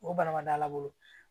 O bana ma da la